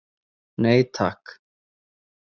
Nei, takk.